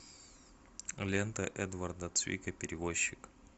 лента эдварда цвика перевозчик